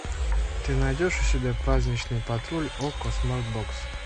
ты найдешь у себя праздничный патруль окко смарт бокс